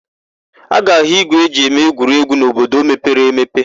A ga-áhụ̀ ígwè e ji eme egwuregwu n'obodo mepere emepe.